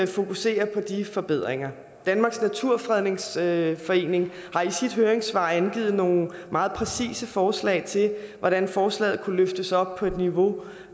fokusere på de forbedringer danmarks naturfredningsforening har i sit høringssvar angivet nogle meget præcise forslag til hvordan forslaget kunne løftes op på et niveau